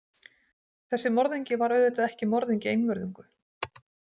Þessi morðingi var auðvitað ekki morðingi einvörðungu.